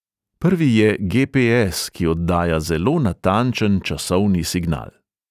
Prvi je ge|pe|es, ki oddaja zelo natančen časovni signal.